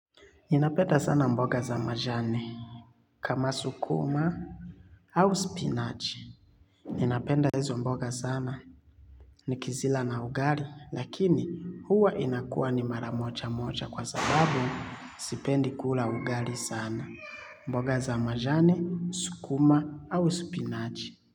Ninapenda sana mboga za majani, kama sukuma au spinachi. Ninapenda hizo mboga sana, ni kizila na ugari lakini, huwa inakua ni maramoja moja kwa sababu sipendi kula ugari sana. Mboga za majani, sukuma au spinachi.